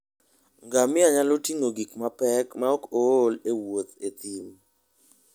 Ngamia nyalo ting'o gik mapek maok ool e wuoth e thim.